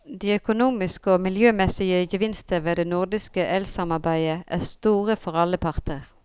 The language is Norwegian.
De økonomiske og miljømæssige gevinster ved det nordiske elsamarbejde er store for alle parter.